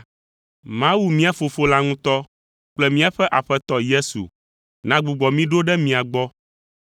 Mawu mía Fofo la ŋutɔ kple míaƒe Aƒetɔ Yesu nagbugbɔ mí ɖo ɖe mia gbɔ